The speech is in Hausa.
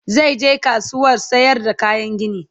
zai je kasuwar sayar da kayan gini